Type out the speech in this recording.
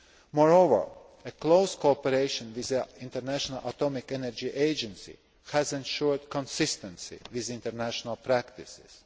Moreover, close cooperation with the International Atomic Energy Agency has ensured consistency with international practices.